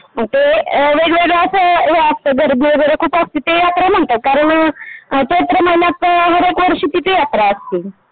मग ते गर्दी वगैरे खूप असते ते यात्रा म्हणतात कारण चैत्र महिन्यात हर एक वर्षी तिथे यात्रा असतें .